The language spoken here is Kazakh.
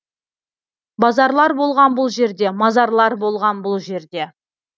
базарлар болған бұл жерде мазарлар болған бұл жерде